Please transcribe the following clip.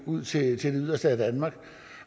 ud til det yderste af danmark